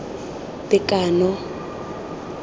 tekano